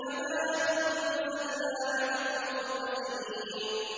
كَمَا أَنزَلْنَا عَلَى الْمُقْتَسِمِينَ